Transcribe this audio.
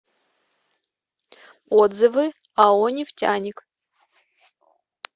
отзывы ао нефтяник